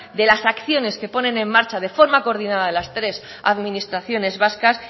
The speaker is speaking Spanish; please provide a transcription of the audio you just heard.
de las acciones que ponen en marcha de forma coordinada las tres administraciones vascas